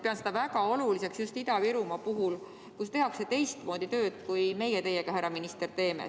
Pean seda väga oluliseks just Ida-Virumaal, kus tehakse teistmoodi tööd, kui teeme meie teiega, härra minister.